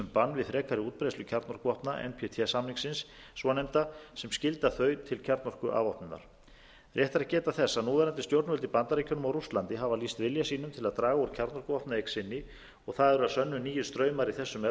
við frekari útbreiðslu kjarnorkuvopna ntp samningsins svonefnda sem skylda þau til kjarnorkuafvopnunar rétt er að geta þess að núverandi stjórnvöld í bandaríkjunum og rússlandi hafa lýst vilja sínum til að draga úr kjarnorkuvopnaeign sinni og það eru að sönnu nýir straumar í þessum efnum